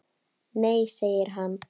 Nei segir hann.